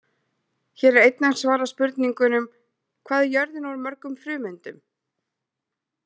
Hér er einnig svarað spurningunum: Hvað er jörðin úr mörgum frumeindum?